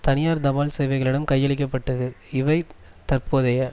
தனியார் தபால் சேவைகளிடம் கையளிக்க பட்டது இவை தற்போதைய